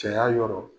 Cɛya yɔrɔ